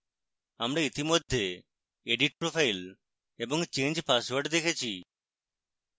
আমরা ইতিমধ্যে edit profile এবং change password দেখেছি